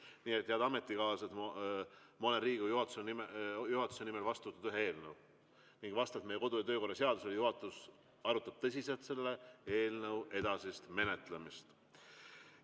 Nii et, head ametikaaslased, ma olen Riigikogu juhatuse nimel vastu võtnud ühe eelnõu ning vastavalt meie kodu- ja töökorra seadusele juhatus arutab tõsiselt selle eelnõu edasist menetlemist.